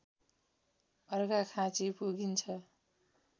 अर्घाखाँचि पुगिन्छ